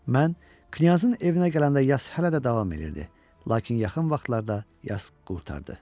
Mən knyazın evinə gələndə yas hələ də davam edirdi, lakin yaxın vaxtlarda yas qurtardı.